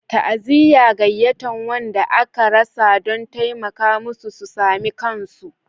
Ta'aziyya ga wanda aka rasa don taimaka musu su sami kansu